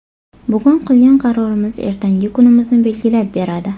Bugun qilgan qarorimiz ertangi kunimizni belgilab beradi.